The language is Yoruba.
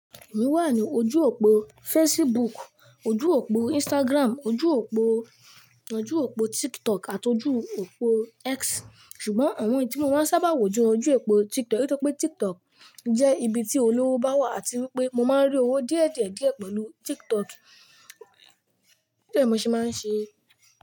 Èmi wà ní ojú òpó Facebook, ojú òpó Instagram, ojú òpó, ojú òpó TikTok àti ojú òpó X. Ṣùgbọ́n àwọn èyí tí mo máa ń sábà wò jẹ ojú òpó TikTok nítorí pé TikTok jẹ́ ibi tí olówó bá wà àti wípé mo máa ń rí owó díẹ̀ díẹ̀ díẹ̀ pẹ̀lú TikTok nítorí ẹ̀ mo ṣe máa ń ṣe.